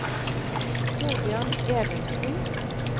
Thorbjørn Evensen